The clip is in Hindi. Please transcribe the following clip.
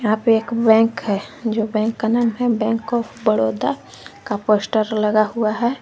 यहां पे एक बैंक है जो बैंक का नाम है बैंक ऑफ बड़ौदा का पोस्टर लगा हुआ है।